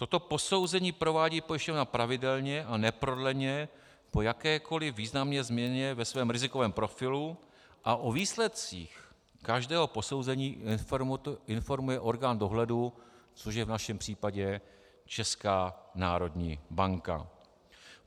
Toto posouzení provádí pojišťovna pravidelně a neprodleně po jakékoli významné změně ve svém rizikovém profilu a o výsledcích každého posouzení informuje orgán dohledu, což je v našem případě Česká národní banka.